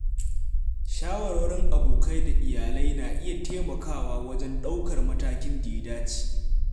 Shawarwarin abokai da iyali na iya taimakawa wajen ɗaukar matakin da ya dace.